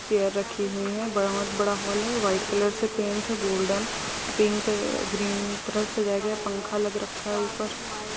chair रखी हुई है बहुत बड़ा-सा हाल है व्हाइट कलर से पेंट है गोल्डेन पिंक ग्रीन तरह से सजाया गया है पंखा लग रखा है ऊपर--